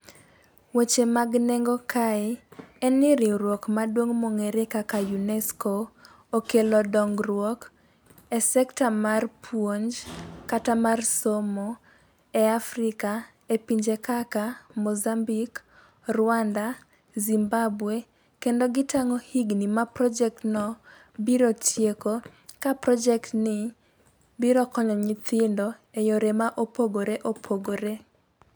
Weche mag nengo kae en ni riwruok maduong mong'ere kaka unesco okelo dongruok e sector mar puonj kata mar somo e Afrika e pinje kaka mozambik, Rwanda ,zimbabwe kendo gitang'o higni ma project no biro tieko ka project ni biro konyo nyithindo e yore mopogore opogore.